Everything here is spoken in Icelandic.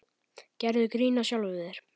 Gerðu grín að sjálfum þér.